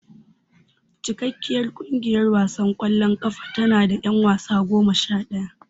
Cikakkiyar kungiyar wasan kwallon kafa tanada yan wasa goma shadaya.